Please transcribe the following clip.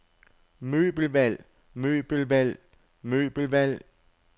møbelvalg møbelvalg møbelvalg